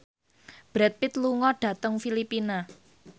Brad Pitt lunga dhateng Filipina